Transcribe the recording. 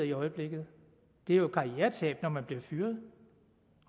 i øjeblikket det er jo et karrieretab når man bliver fyret